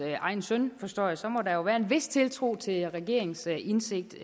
egen søn forstår jeg så må der jo være en vis tiltro til regeringens indsigt